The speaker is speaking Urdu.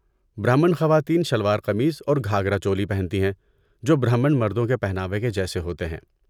برہمن خواتین شلوار قمیض اور گھاگھرا چولی پہنتی ہیں، جو برہمن مردوں کے پہناوے کے جیسے ہوتے ہیں۔